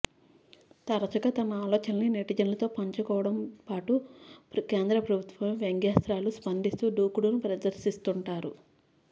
తరచుగా తన ఆలోచనల్ని నెటిజన్లతో పంచుకోవడంతో పాటు కేంద్ర ప్రభుత్వంపై వ్యంగ్యాస్త్రాలు సంధిస్తూ దూకుడును ప్రదర్శిస్తుంటారు